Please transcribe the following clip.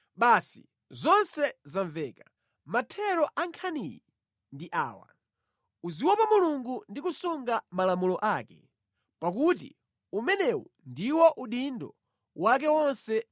Basi zonse zamveka; mathero a nkhaniyi ndi awa: uziopa Mulungu ndi kusunga malamulo ake, pakuti umenewu ndiwo udindo wa anthu onse.